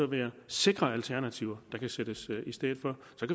være sikre alternativer der kan sættes i stedet for